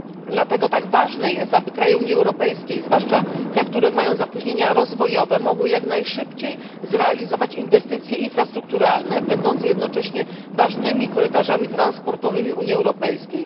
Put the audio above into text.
Dlatego tak ważne jest, aby państwa Unii Europejskiej, zwłaszcza te, które mają opóźnienia rozwojowe, mogły jak najszybciej zrealizować inwestycje infrastrukturalne, będące jednocześnie ważnymi korytarzami transportowymi Unii Europejskiej.